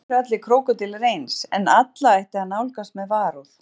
Ekki eru allir krókódílar eins en alla ætti að nálgast með varúð.